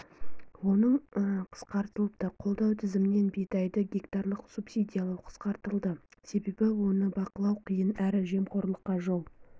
оның қысқартылыпты қолдау тізімінен бидайды гектарлық субсидиялау қысқартылды себебі оны бақылау қиын әрі жемқорлыққа жол